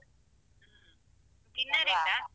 ಹ್ಮ್ dinner ಇಲ್ವಾ?